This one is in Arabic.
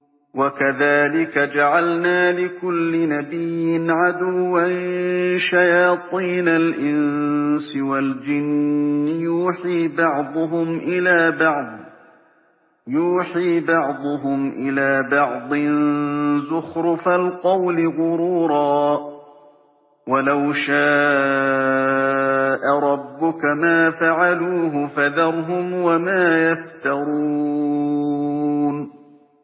وَكَذَٰلِكَ جَعَلْنَا لِكُلِّ نَبِيٍّ عَدُوًّا شَيَاطِينَ الْإِنسِ وَالْجِنِّ يُوحِي بَعْضُهُمْ إِلَىٰ بَعْضٍ زُخْرُفَ الْقَوْلِ غُرُورًا ۚ وَلَوْ شَاءَ رَبُّكَ مَا فَعَلُوهُ ۖ فَذَرْهُمْ وَمَا يَفْتَرُونَ